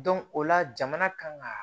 o la jamana kan ka